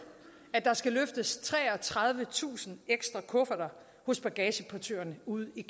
at der skal løftes treogtredivetusind ekstra kufferter hos bagageportørerne ude i